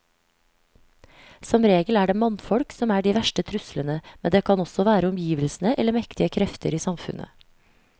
Som regel er det mannfolk som er de verste truslene, men det kan også være omgivelsene eller mektige krefter i samfunnet.